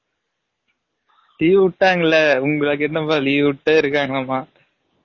leave உட்டாங்கல, உங்கலுக்கு என்ன பா leave உட்டே இருகாங்க மா